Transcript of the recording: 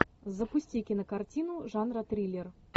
запусти кинокартину жанра триллер